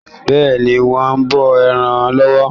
Bẹ́ẹ̀ni, wọ́n ń bọ ẹran lọ́wọ́.